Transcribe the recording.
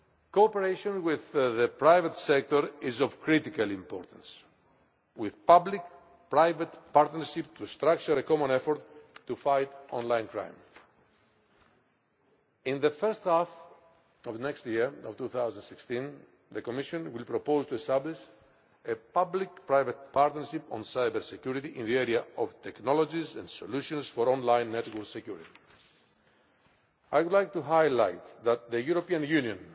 Cooperation with the private sector is of critical importance, with public private partnerships to structure a common effort to fight online crime. In the first half of 2016 the Commission will propose establishing a public private partnership on cybersecurity in the area of technologies and solutions for online network security. I would like to highlight the fact that the European Union